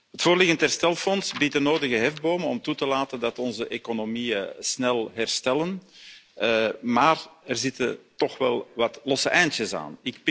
Het voorliggende herstelfonds biedt de nodige hefbomen om toe te laten dat onze economieën snel herstellen, maar er zitten toch wel wat losse eindjes aan.